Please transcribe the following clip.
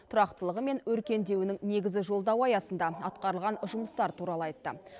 тұрақтылығы мен өркендеуінің негізі жолдауы аясында атқарылған жұмыстар туралы айтты